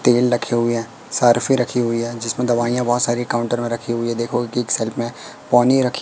तेल रखे हुई है सर्फी रखी हुई है जिसमें दवाइयां बहोत सारी काउंटर में रखी हुई है देखो की एक सर्फ़ में पानी रखी--